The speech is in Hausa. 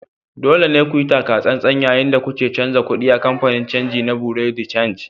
Dole ne ku yi taka tsantsan yayin da kuke canja kuɗi a kamfanin canji na Bureau de change